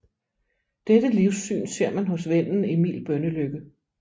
Dette livssyn ser man hos vennen Emil Bønnelycke